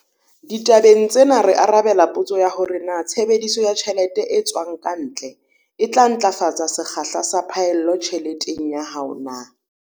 Ditabeng tsena re arabela potso ya hore na tshebediso ya tjhelete e tswang ka ntle e tla ntlafatsa sekgahla sa phaello tjheleteng ya hao na.